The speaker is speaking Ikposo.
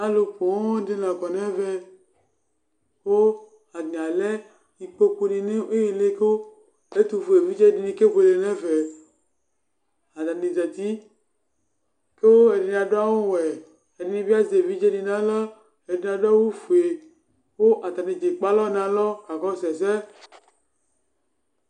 Alʋ pooo ɖɩ la ƙɔ nʋ ɛvɛ; ƙʋ ata nɩ alɛ iƙpoƙu nɩ nʋ ɩhɩlɩ Ƙʋ ɛtʋ fue viɖze ɖɩnɩ ƙebuele nʋ ɛfɛAta nɩ zati ƙʋ ɛɖɩnɩ aɖʋ awʋ wɛ ,ɛɖɩnɩ bɩ azɛ eviɖze nɩ nʋ aɣla, ɛɖɩnɩ aɖʋ awʋ fue ƙʋ ata nɩ ɖza ƙplo eƙpe alɔ nʋ alɔ ƙaƙɔsʋ ɛsɛ